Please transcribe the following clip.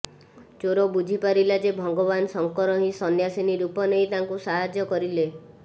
ଚୋର ବୁଝିପାରିଲା ଯେ ଭଗବାନ ଶଙ୍କର ହିଁ ସନ୍ନ୍ୟାସିନୀ ରୂପ ନେଇ ତାଙ୍କୁ ସାହାଯ୍ୟ କରିଲେ